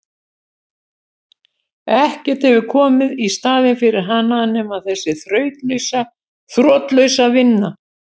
Ekkert hefur komið í staðinn fyrir hana nema þessi þrotlausa vinna.